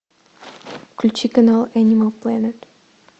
включи канал энимал плэнет